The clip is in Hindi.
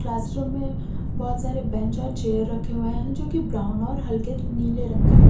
आश्रम में बहोत सारे बेंच और चेयर रखे हुए हैं जो कि ब्राउन और हल्के नीले रंग का है।